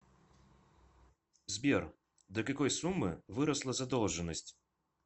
сбер до какой суммы выросла задолженность